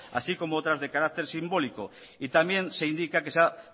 así como otras de carácter simbólico y también se indica que se ha